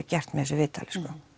gert með þessu viðtali